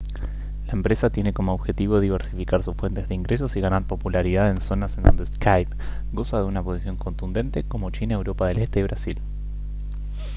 la empresa tiene como objetivo diversificar sus fuentes de ingresos y ganar popularidad en zonas en donde skype goza de una posición contundente como china europa del este y brasil